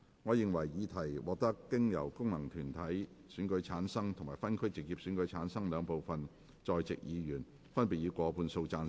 我認為議題獲得經由功能團體選舉產生及分區直接選舉產生的兩部分在席議員，分別以過半數贊成。